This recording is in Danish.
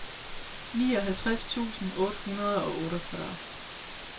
nioghalvtreds tusind otte hundrede og otteogfyrre